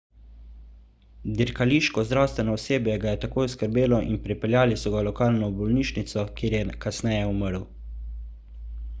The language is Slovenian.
dirkališko zdravstveno osebje ga je takoj oskrbelo in prepeljali so ga v lokalno bolnišnico kjer je kasneje umrl